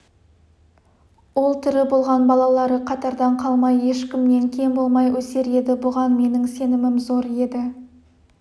ол тірі болған балалары қатардан қалмай ешкімнен кем болмай өсер еді бұған менің сенімім зор еді